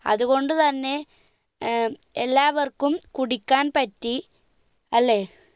അത് കൊണ്ട് തന്ന ഏർ എല്ലാവർക്കും കുടിക്കാൻ പറ്റി അല്ലെ